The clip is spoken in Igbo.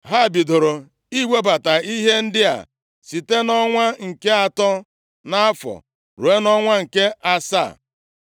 Ha bidoro iwebata ihe ndị a site nʼọnwa nke atọ nʼafọ ruo nʼọnwa nke asaa.